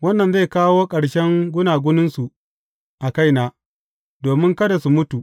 Wannan zai kawo ƙarshen gunaguninsu a kaina, domin kada su mutu.